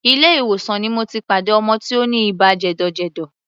Ilé ìwòsàn ni mo ti pàdé ọmọ tí ó ní ibà jẹ̀dọ̀jẹ̀dọ̀.